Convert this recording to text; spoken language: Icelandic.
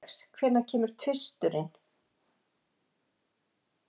Alex, hvenær kemur tvisturinn?